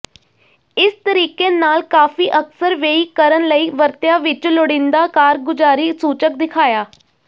ਇਸ ਤਰੀਕੇ ਨਾਲ ਕਾਫ਼ੀ ਅਕਸਰ ਵੇਈ ਕਰਨ ਲਈ ਵਰਤਿਆ ਵਿੱਚ ਲੋੜੀਦਾ ਕਾਰਗੁਜ਼ਾਰੀ ਸੂਚਕ ਦਿਖਾਇਆ